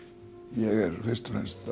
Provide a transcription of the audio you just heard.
ég er fyrst og fremst